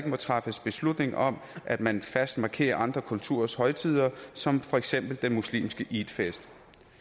må træffes beslutninger om at man fast markerer andre kulturers højtider som for eksempel den muslimske eidfest